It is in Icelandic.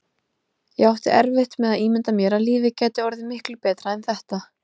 Ég átti erfitt með að ímynda mér að lífið gæti orðið miklu betra en þetta.